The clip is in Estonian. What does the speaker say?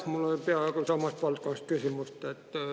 Jah, mul oli peaaegu sama valdkonna kohta küsimus.